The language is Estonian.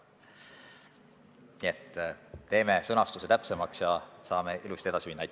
Nii et teeme selle sõnastuse täpsemaks ja saame ilusasti edasi minna.